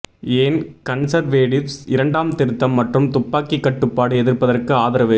ஏன் கன்சர்வேடிவ்ஸ் இரண்டாம் திருத்தம் மற்றும் துப்பாக்கி கட்டுப்பாடு எதிர்ப்பதற்கு ஆதரவு